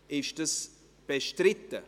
Ist dies bestritten?